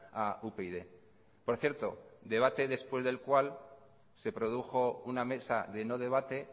a upyd por cierto debate después del cual se produjo una mesa de no debate